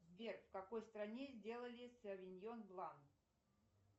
сбер в какой стране сделали совиньон блан